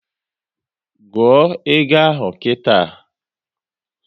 Gụọ égo ahụ nkịta!